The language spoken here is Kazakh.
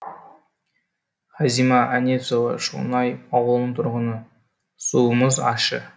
хазима әнесова шоңай ауылының тұрғыны суымыз ащы